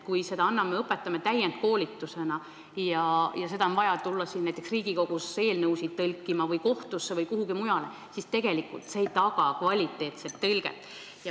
Kui me õpetame viipekeelt täienduskoolituse raames ja tõlgil on vaja tulla näiteks siia Riigikogusse eelnõusid tõlkima või minna kohtusse või kuhugi mujale, siis ei pruugi ta osata tõlkida kvaliteetselt.